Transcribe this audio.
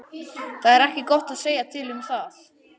Það er ekki gott að segja til um það.